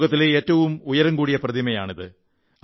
ലോകത്തിലെ ഏറ്റവും ഉയരമുള്ള പ്രതിമയാണത്